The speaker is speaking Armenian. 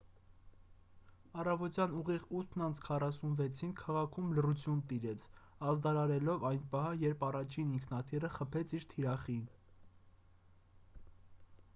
առավոտյան ուղիղ 8:46-ին քաղաքում լռություն տիրեց՝ ազդարարելով այն պահը երբ առաջին ինքնաթիռը խփեց իր թիրախին: